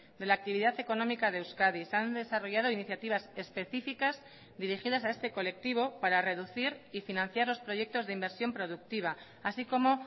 de la actividad económica de euskadi se han desarrollado iniciativas específicas dirigidas a este colectivo para reducir y financiar los proyectos de inversión productiva así como